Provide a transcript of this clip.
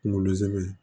Kunkolo zɛmɛ